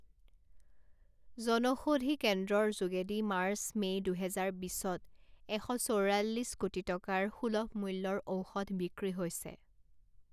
জনষৌধি কেন্দ্ৰৰ যোগেদি March May দুহেজাৰ বিছত এশ চৌৰাল্লিছ কোটি টকাৰ সুলভ মূল্যৰ ঔষধ বিক্ৰী হৈছে।